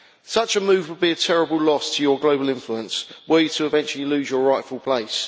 Such a move would be a terrible loss to your global influence and a way to eventually lose your rightful place.